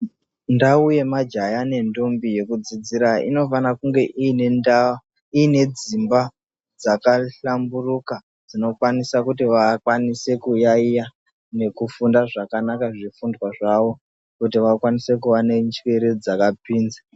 Ndau yemajaya nendombi yekudzidzira inofana kunge ine ndau inedzimba dzakahlamburuka. Dzinokwanisa kuti vakwanisekuyaiya nekufunda zvakanaka zvifundwa zvavo kuti vakwanise kuva nenjere dzakapinza.